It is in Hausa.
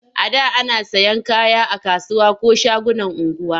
A da ana sayan kaya a kasuwa ko shagunan unguwa.